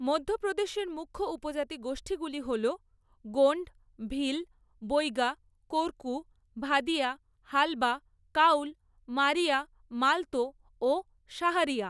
মধ্যপ্রদেশের মুখ্য উপজাতি গোষ্ঠীগুলি হল গোণ্ড, ভিল, বৈগা, কোরকু, ভাদিয়া, হালবা, কাউল, মারিয়া, মালতো ও সাহারিয়া।